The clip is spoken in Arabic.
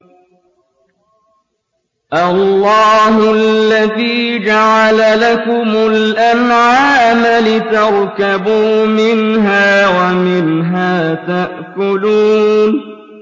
اللَّهُ الَّذِي جَعَلَ لَكُمُ الْأَنْعَامَ لِتَرْكَبُوا مِنْهَا وَمِنْهَا تَأْكُلُونَ